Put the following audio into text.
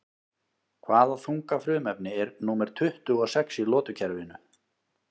Hvaða þunga frumefni er númer tuttugu og sex í lotukerfinu?